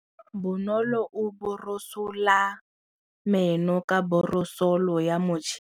Bonolô o borosola meno ka borosolo ya motšhine.